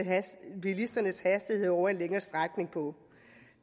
bilisternes hastighed over en længere strækning på